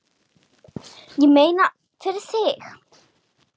Ég meina, fyrir þig.